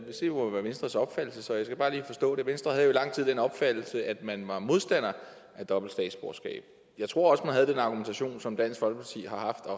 jo være venstres opfattelse jeg skal bare lige forstå det venstre havde i lang tid den opfattelse at man var modstander af dobbelt statsborgerskab jeg tror også at man havde den argumentation som dansk folkeparti har haft og